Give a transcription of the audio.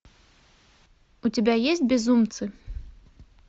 у тебя есть безумцы